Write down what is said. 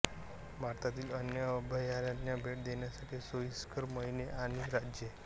भारतातील अन्य अभयारण्ये भेट देण्यासाठी सोईस्कर महिने आणि राज्ये